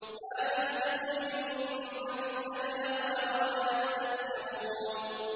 مَّا تَسْبِقُ مِنْ أُمَّةٍ أَجَلَهَا وَمَا يَسْتَأْخِرُونَ